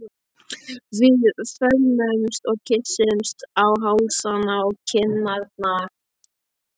Við föðmumst og kyssumst á hálsana og kinnarnar.